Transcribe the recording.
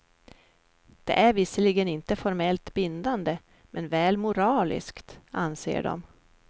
Den är visserligen inte formellt bindande, men väl moraliskt, anser de.